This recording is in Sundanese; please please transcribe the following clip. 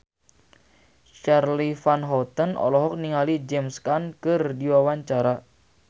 Charly Van Houten olohok ningali James Caan keur diwawancara